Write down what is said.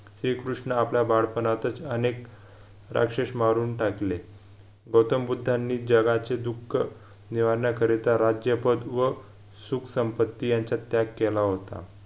श्रीकृष्ण आपल्या बाडपणातच अनेक राक्षस मारून टाकिले गौतम बुद्धांनी जगाचे दुःख निवारण्याकरिता राज्यपद व सुखसम्पत्ती यांच्यात त्याग केला होता